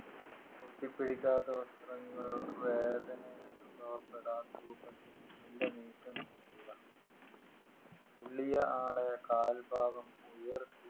ഒട്ടിപ്പിടിക്കാത്ത വസ്ത്രങ്ങൾ വേദന അനുഭവപ്പെടാത്ത രൂപത്തിൽ മെല്ലെ നീക്കം ചെയ്യുക പൊള്ളിയ ആളെ കാൽഭാഗം ഉയർത്തി